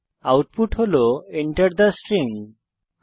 এটি Enter থে string হিসাবে প্রদর্শিত হয়